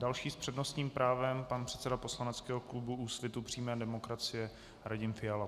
Další s přednostním právem - pan předseda poslaneckého klubu Úsvitu přímé demokracie Radim Fiala.